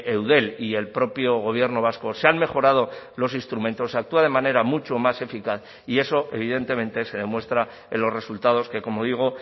eudel y el propio gobierno vasco se han mejorado los instrumentos se actúa de manera mucho más eficaz y eso evidentemente se demuestra en los resultados que como digo